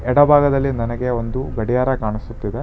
ಎಡಭಾಗದಲ್ಲಿ ನನಗೆ ಒಂದು ಗಡಿಯಾರ ಕಾಣಿಸುತ್ತಿದೆ.